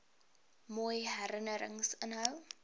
mooi herinnerings inhou